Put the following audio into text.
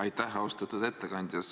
Aitäh, austatud ettekandja!